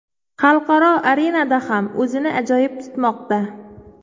Xalqaro arenada ham o‘zini ajoyib tutmoqda.